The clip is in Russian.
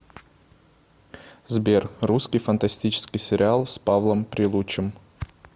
сбер русский фантастическийи сериал с павлом прилучым